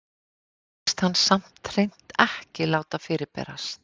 Þar hugðist hann samt hreint ekki láta fyrirberast.